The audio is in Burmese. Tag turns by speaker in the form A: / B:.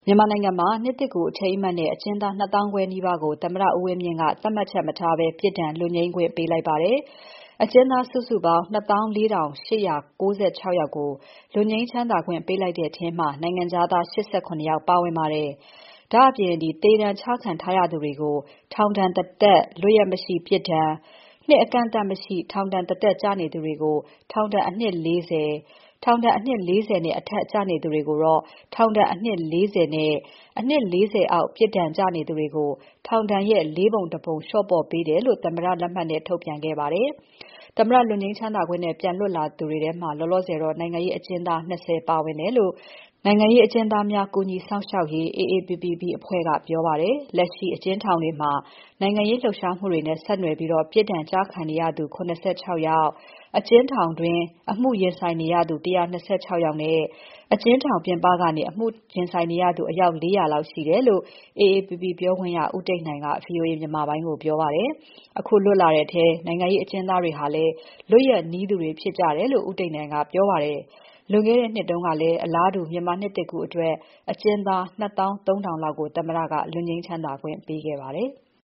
A: မြန်မာနိုင်ငံမှာ နှစ်သစ်ကူးအထိမ်းအမှတ်တဲ့ အကျဉ်းသား ၂၅,၀၀၀ နီးပါးကို သမ္မတဦးဝင်းမြင့်က သတ်မှတ်ချက်မထားဘဲ ပြစ်ဒဏ် လွတ်ငြိမ်းခွင့်ပေးလိုက်ပါတယ်။ အကျဉ်းသားစုစုပေါင်း ၂၄,၈၉၆ ကို လွတ်ငြိမ်းချမ်းသာခွင့်ပေးလိုက်တဲ့ထဲမှာ နိုင်ငံခြားသား ၈၇ ယောက်ပါဝင်ပါတယ်။ ဒါ့အပြင် သေဒဏ်ချခံထားရသူတွေကို ထောင်ဒဏ်တသက် ပြစ်ဒဏ်၊ နှစ်အကန့်အသတ်မရှိ ထောင်ဒဏ်တသက်ကျနေသူတွေကို ထောင်ဒဏ်အနှစ် ၄၀၊ ထောင်ဒဏ်အနှစ် ၄၀ နဲ့ အထက်ကျနေသူတွေကို ထောင်ဒဏ်အနှစ် ၄၀ နဲ့ အနှစ် ၄၀ အောက်ပြစ်ဒဏ်ကျနေသူတွေကို ထောင်ဒဏ်ရဲ့ ၄ ပုံ ၁ ပုံ လျှော့ပေါ့ပေးတယ်လို့ သမ္မတလက်မှတ်နဲ့ ထုတ်ပြန်ခဲ့ပါတယ်။ သမ္မတလွတ်ငြိမ်းချမ်းသာခွင့်နဲ့ ပြန်လွတ်လာသူတွေထဲမှာ လောလောဆယ် နိုင်ငံရေးအကျဉ်းသား ၂၀ ပါဝင်တယ်လို့ နိုင်ငံရေးအကျဉ်းသားများ စောင့်ရှောက်ရေး AAPPB ကပြောပါတယ်။ လက်ရှိ အကျဉ်းထောင်တွေမှာ နိုင်ငံရေးလှုပ်ရှားမှုတွေနဲ့ဆက်နွယ်ပြီး ပြစ်ဒဏ်ကျခံနေသူ ၇၆ ယောက် အကျဉ်းထောင်အတွင်းက အမှုရင်ဆိုင်နေရသူ ၁၂၆ လောက်နဲ့ အကျဉ်းထောင်ပြင်ပကနေ အမှုရင်ဆိုင်နေရသူ အယောက် ၄၀၀ လောက်ရှိ တယ်လို့ AAPP ပြောခွင့်ရ ဦးတိတ်နိုင်က VOA မြန်မာပိုင်းကို ပြောပါတယ်။ အခုလွတ်လာတဲ့အထဲ နိုင်ငံရေးအကျဉ်းသားတွေဟာလည်း လွတ်ရက်နီးသူတွေ ဖြစ်ကြတယ်လို့ ဦးတိတ်နိုင်က ပြောပါတယ်။ ပြီးခဲ့တဲ့နှစ်က အလားတူ မြန်မာနှစ်သစ်ကူးအတွက် အကျဉ်းသား ၂၃,၀၀၀ လောက်ကို သမ္မတက လွတ်ငြိမ်းချမ်းသာခွင့်ပေးခဲ့ပါတယ်။